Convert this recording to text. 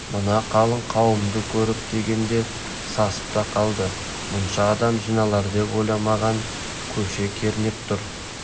мына қалың қауымды көріп дегенде сасып та қалды мұнша адам жиналар деп ойламаған көше кернеп тұр